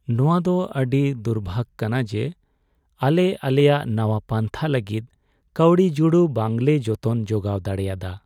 ᱱᱚᱶᱟ ᱫᱚ ᱟᱹᱰᱤ ᱫᱩᱨᱵᱷᱟᱹᱜ ᱠᱟᱱᱟ ᱡᱮ, ᱟᱞᱮ ᱟᱞᱮᱭᱟᱜ ᱱᱟᱶᱟ ᱯᱟᱱᱛᱷᱟ ᱞᱟᱹᱜᱤᱫ ᱠᱟᱹᱣᱰᱤ ᱡᱩᱲᱩ ᱵᱟᱝᱞᱮ ᱡᱚᱛᱚᱱ ᱡᱚᱜᱟᱣ ᱫᱟᱲᱮᱭᱟᱫᱟ ᱾